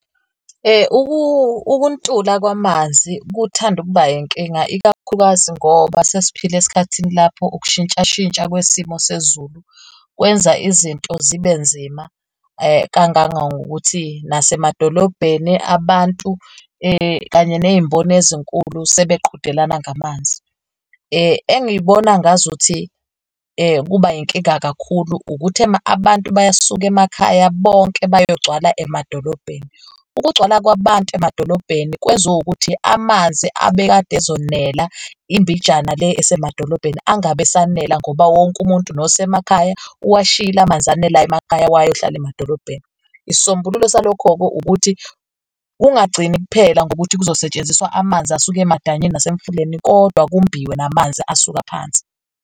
Ukuntula kwamanzi kuthanda ukuba inkinga, ikakhulukazi ngoba sesiphila esikhathini lapho ukushintshashintsha kwesimo sezulu kwenza izinto zibe nzima kangangangokuthi nasemadolobheni abantu kanye ney'mboni ezinkulu sebeqhudelana ngamanzi. Engiyibona ngazuthi kuba inkinga kakhulu ukuthi abantu bayasuka emakhaya bonke bayogcwala emadolobheni. Ukugcwala kwabantu emadolobheni kwenza ukuthi amanzi abekade ezonela imbijana le esemadolobheni, angabe esanela ngoba wonke umuntu nosemakhaya uwashiyile amanzi anelayo emakhaya, wayohlala emadolobheni. Isisombululo salokho-ke ukuthi kungagcini kuphela ngokuthi kuzosetshenziswa amanzi asuke emadanyini nasemifuleni kodwa kumbiwe namanzi asuka phansi.